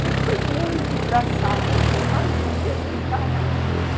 Mas foi muito engraçado, porque nós ríamos sem parar.